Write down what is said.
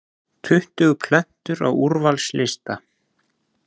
Tuttugu plötur á úrvalslista